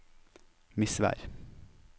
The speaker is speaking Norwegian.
Misvær